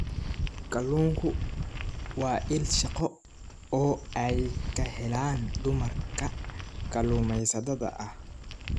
Kalluunku waa il shaqo oo ay ka helaan dumarka kalluumaysatada ah.